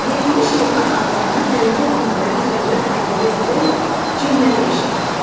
Verilmiş heyvan adlarına hərəkət bildirən sözlər əlavə edərək cümlədə işlət.